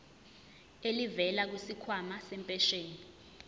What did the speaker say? elivela kwisikhwama sempesheni